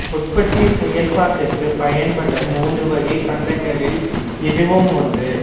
உற்பத்திச் செயற்பாட்டுக்குப் பயன்படும் மூன்று வகைப் பண்டங்களில் இதுவும் ஒன்று